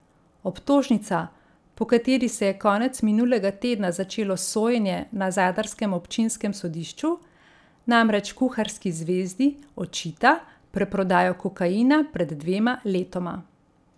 Obtožnica, po kateri se je konec minulega tedna začelo sojenje na zadarskem občinskem sodišču, namreč kuharski zvezdi očita preprodajo kokaina pred dvema letoma.